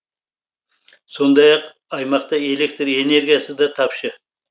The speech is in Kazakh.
сондақ ақ аймақта электр энергиясы да тапшы